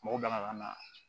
Mɔgɔ gana na